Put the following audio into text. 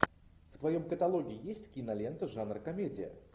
в твоем каталоге есть кинолента жанр комедия